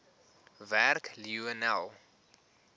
werk lionel